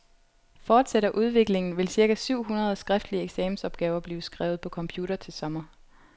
Fortsætter udviklingen, vil cirka syv hundrede skriftlige eksamensopgaver blive skrevet på computer til sommer.